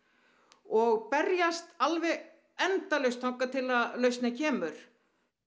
og berjast alveg endalaust þangað til að lausnin kemur